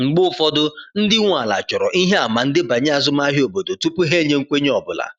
Mgbe ụfọdụ, ndị nwe ala chọrọ ihe àmà ndebanye azụmahịa obodo tupu ha enye nkwenye ọ bụla.